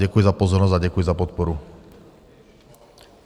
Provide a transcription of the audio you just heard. Děkuji za pozornost a děkuji za podporu.